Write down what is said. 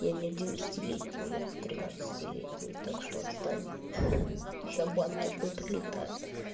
я не одиннадцатилетний я тринадцатилетний так что отстань и шалбан такой прилетает